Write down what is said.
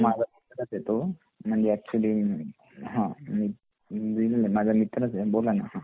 माझा मित्रच आहे तो म्हणजे अॅक्चुअली अ हा हा माझा मित्रच आहे तो बोला ना